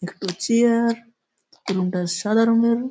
একটো chair room -টা সাদা রঙের ।